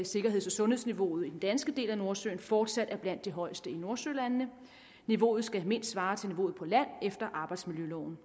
sikkerheds og sundhedsniveauet i den danske del af nordsøen fortsat er blandt de højeste i nordsølandene niveauet skal mindst svare til niveauet på land efter arbejdsmiljøloven